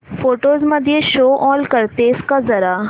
photos मध्ये show all करतेस का जरा